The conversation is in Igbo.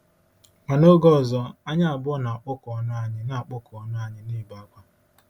Ma n’oge ọzọ, anyị abụọ na-akpọku ọnụ anyị na-akpọku ọnụ anyị na -ebe akwa.